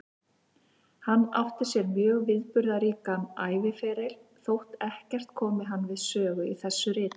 Hann átti sér mjög viðburðaríkan æviferil, þótt ekkert komi hann við sögu í þessu riti.